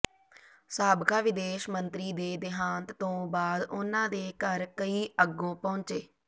ਸਾਬਕਾ ਵਿਦੇਸ਼ ਮੰਤਰੀ ਦੇ ਦੇਹਾਂਤ ਤੋਂ ਬਾਅਦ ਉਨ੍ਹਾਂ ਦੇ ਘਰ ਕਈ ਅੱਗੋਂ ਪਹੁੰਚੇ